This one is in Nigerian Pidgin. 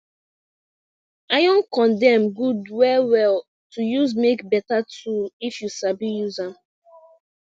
iron condem good well well to use make beta tool if you sabi use am